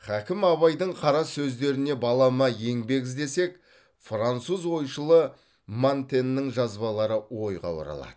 хакім абайдың қара сөздеріне балама еңбек іздесек француз ойшылы монтеньнің жазбалары ойға оралады